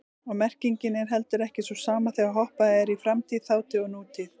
Og merkingin er heldur ekki sú sama þegar hoppað er í framtíð, þátíð og nútíð.